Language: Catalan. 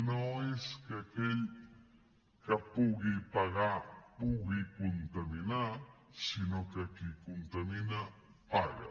no és que aquell que pugui pagar pugui contaminar sinó que qui contamina paga